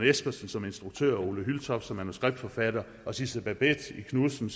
espersen som instruktør ole hyltoft som manuskriptforfatter og sidse babett knudsen